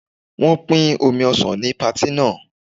Wọn pin omi ọsàn ní patí náà.